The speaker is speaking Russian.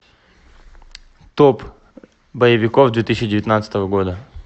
топ боевиков две тысячи девятнадцатого года